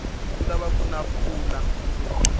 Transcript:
ku lava kuna mpfula munduku